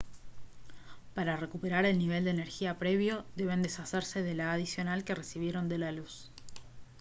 para recuperar el nivel de energía previo deben deshacerse de la adicional que recibieron de la luz